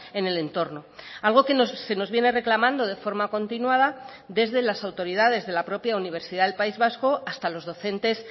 en el entorno algo que se nos viene reclamando de forma continuada desde las autoridades de la propia universidad del país vasco hasta los docentes